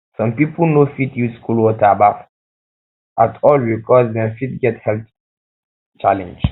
some pipo no fit use cold water baff um at all because dem fit get health challenge